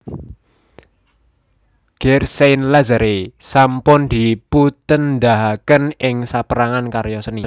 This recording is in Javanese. Gare Saint Lazare sampun dipuntedahaken ing sapérangan karya seni